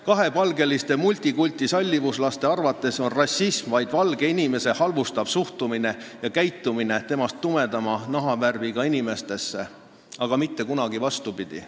Kahepalgeliste multikultisallivuslaste arvates on rassism vaid valge inimese halvustav suhtumine tumedama nahavärviga inimestesse ja vastav käitumine, aga mitte kunagi vastupidi.